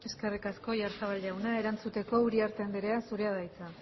eskerrik asko oyarzabal jauna erantzuteko uriarte anderea zurea da hitza